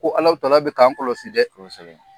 Ko bɛ k'an kɔlɔsi dɛ , kosɛbɛ.